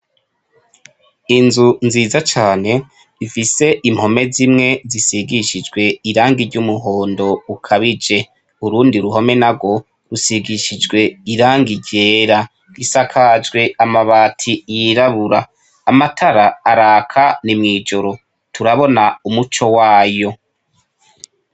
Inzu nziza cane mfise impome zimwe zisigishijwe irangi iry'umuhondo ukabije urundi ruhome na rwo rusigishijwe irangi ryera gisakajwe amabati yirabura amatara araka no mw'ijoro turabona umuco wayo.